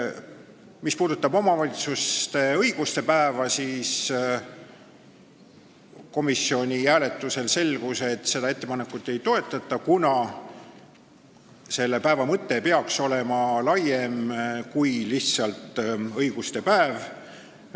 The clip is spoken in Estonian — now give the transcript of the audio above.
Mis puudutab omavalitsuste õiguste päeva, siis komisjoni hääletusel selgus, et seda ettepanekut ei toetata, kuna selle päeva mõte peaks olema laiem kui lihtsalt õiguste päev.